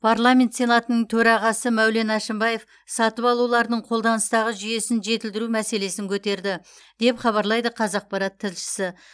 парламент сенатының төрағасы мәулен әшімбаев сатып алулардың қолданыстағы жүйесін жетілдіру мәселесін көтерді деп хабарлайды қазақпарат тілшісі